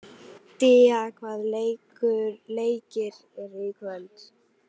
Día, hvaða leikir eru í kvöld?